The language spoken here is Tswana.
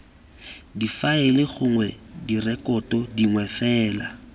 difaele gongwe direkoto dingwe fela